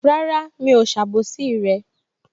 Rárá, mi ò ṣe àbòsí rẹ